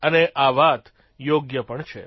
અને આ વાત યોગ્ય પણ છે